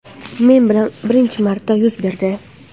Men bilan birinchi marta yuz berdi.